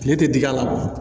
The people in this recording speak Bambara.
Tile tɛ dig'a la